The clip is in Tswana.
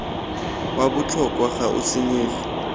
wa botlhokwa ga o senyege